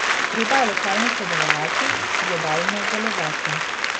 Treba je lokalno sodelovati, globalno delovati.